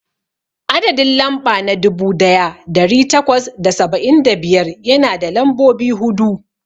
Adadin lamɓa na dubu daya dari takwas da saba'in da biyar yana da lambobi hudu.